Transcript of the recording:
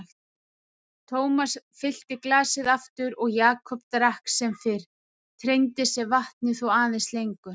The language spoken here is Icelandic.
Thomas fyllti glasið aftur og Jakob drakk sem fyrr, treindi sér vatnið þó aðeins lengur.